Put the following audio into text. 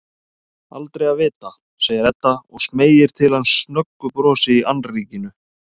Aldrei að vita, segir Edda og smeygir til hans snöggu brosi í annríkinu.